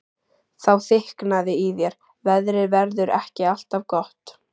Þá þykknaði í þér: Veðrið verður ekki alltaf gott.